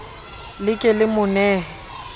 le ke le mo nehe